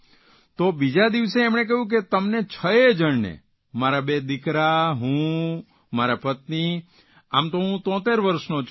તો બીજા દિવસે એમણે કહ્યું કે તમને છ યે જણને મારા બે દિકરા હું મારા પત્ની આમ તો હું ૭૩ વર્ષનો છું